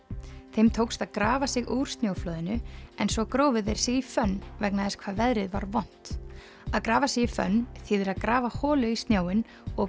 þeim tókst að grafa sig úr snjóflóðinu en svo grófu þeir sig í fönn vegna þess hvað veðrið var vont að grafa sig í fönn þýðir að grafa holu í snjóinn og